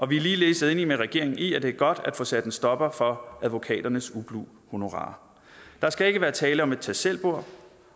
vi er ligeledes enige med regeringen i at det er godt at få sat en stopper for advokaternes ublu honorarer der skal ikke være tale om et tag selv bord